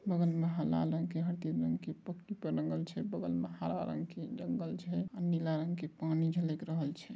बगल में हला रंग के हरदिर रंग के पक्की पे रंगल छै बगल में हरा रंग के जंगल छै आ नीला रंग पानी झलक रहल छै।